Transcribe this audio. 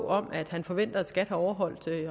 om at han forventer at skat har overholdt